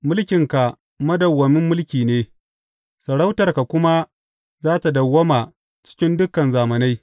Mulkinka madawwamin mulki ne, sarautarka kuma za tă dawwama cikin dukan zamanai.